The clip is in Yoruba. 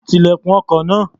Ti ilẹ̀kùn ọkọ̀ náà.